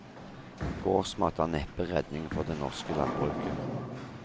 Gårdsmat er neppe redningen for det norske landbruket.